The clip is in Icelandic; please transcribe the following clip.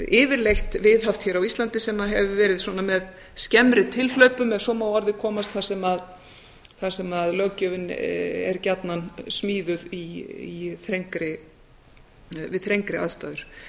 yfirleitt viðhaft hér á íslandi sem hefur verið svona með skemmri tilhlaupum ef svo má að orði komast þar sem löggjöfin er gjarnan smíðuð við þrengri aðstæður